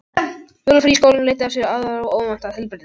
Jólafrí í skólum leiddi af sér aðra óvænta tilbreytingu.